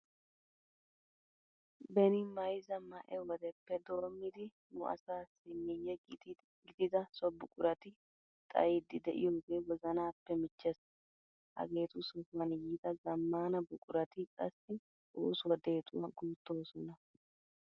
Beni mayzza ma"e wodeppe doommidi nu asaassi miyye gidida so buqurati xayiiddi de'iyogee wozanappe michchees. Hageetu sohuwan yiida zammaana buqurati qassi oosuwa deexuwa guuttoosona.